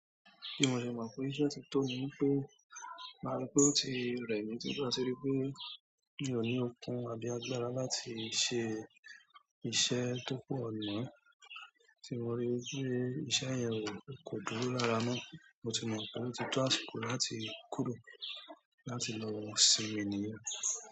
Kí mo ṣe mọ̀ pé iṣẹ́ ti tó ni wípé máa rí pé ó ti rẹ̀ mí tí mo bá ríi pé mi ò ní okun àbí agbára láti ṣe iṣẹ́ tó pọ̀ mọ́, tí mo rí i wí pé iṣẹ́ yẹn o kò dúró lára mọ́, mo ti mọ̀ pé ó ti tó àṣikò láti kúrò láti lọ ọ́ sinmi nìyẹn.